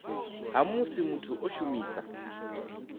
ha musi muthu o shumisa